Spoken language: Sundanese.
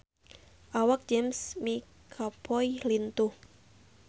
Awak James McAvoy lintuh